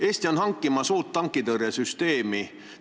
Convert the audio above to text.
Eesti on hankimas uut tankitõrjesüsteemi.